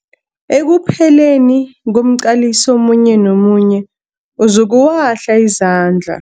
Ekupheleni komqaliso omunye nomunye uzokuwahla izandla.